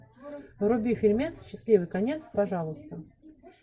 вруби фильмец счастливый конец пожалуйста